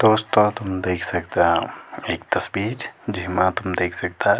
दोस्तों तुम देख सकदा एक तस्वीर जेमा तुम देख सकदा --